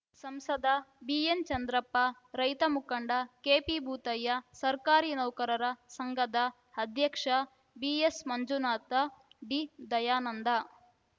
ಸಂಸದ ಬಿಎನ್‌ಚಂದ್ರಪ್ಪ ರೈತ ಮುಖಂಡ ಕೆಪಿಭೂತಯ್ಯ ಸರ್ಕಾರಿ ನೌಕರರ ಸಂಘದ ಅಧ್ಯಕ್ಷ ಬಿಎಸ್‌ಮಂಜುನಾಥ ಡಿದಯಾನಂದ